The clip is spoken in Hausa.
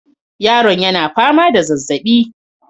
Yaron yana fama da zazaɓi